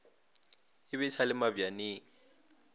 o be a sale mabjaneng